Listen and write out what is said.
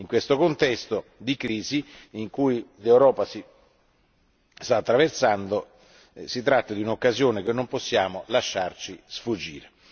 In questo contesto di crisi che l'Europa sta attraversando si tratta di un'occasione che non possiamo lasciarci sfuggire.